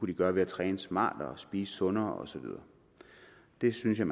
de gøre ved at træne smartere spise sundere og så videre det synes jeg